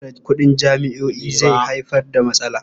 Zabtare kuɗin jami'o'i zai haifar da matsala.